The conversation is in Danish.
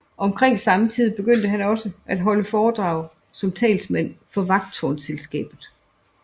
Omkring samme tid begyndte han også at holde foredrag som talsmand for Vagttårnsselskabet